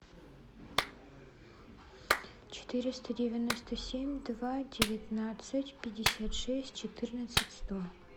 четыреста девяносто семь два девятнадцать пятьдесят шесть четырнадцать сто